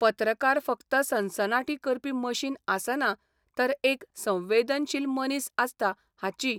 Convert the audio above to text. पत्रकार फक्त सनसनाटी करपी मशीन आसना तर एक 'संवेदनशील मनीस 'आसता हाची